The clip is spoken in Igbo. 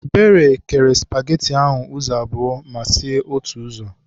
Ebere kere spageti ahụ ụzọ abụọ ma sie otu ụzọ.